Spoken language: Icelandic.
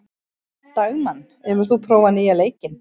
Dagmann, hefur þú prófað nýja leikinn?